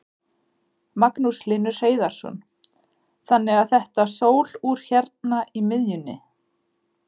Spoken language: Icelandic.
Magnús Hlynur Hreiðarsson: Þannig að þetta sólúr hérna í miðjunni?